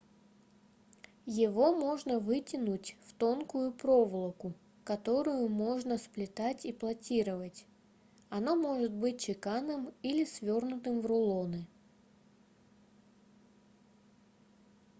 его можно вытянуть в тонкую проволоку которую можно сплетать и платировать оно может быть чеканным или свернутым в рулоны